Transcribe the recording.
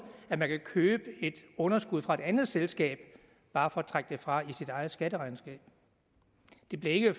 at man kan købe et underskud fra et andet selskab bare for at trække det fra i sit eget skatteregnskab det blev ikke